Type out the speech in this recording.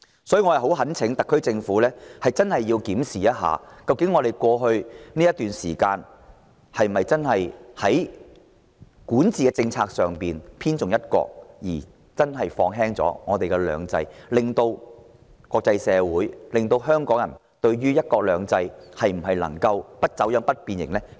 所以，我懇請特區政府認真檢視，在過去一段時間，管治政策有否重"一國"而輕"兩制"，令國際社會及港人產生信心危機，質疑香港的"一國兩制"能否"不走樣、不變形"？